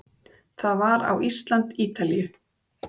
Það var á Ísland- Ítalíu